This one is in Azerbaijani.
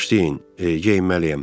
Bağışlayın, geyinməliyəm.